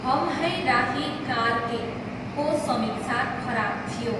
हम है राही कार के को समीक्षा खराब थियो।